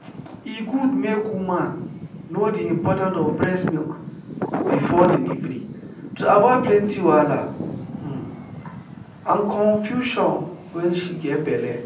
e good make woman know the important of breast milk before delivery to avoid plenty wahala um and confusion wen she get belle